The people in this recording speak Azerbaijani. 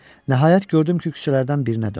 Nəhayət gördüm ki, küçələrdən birinə döndü.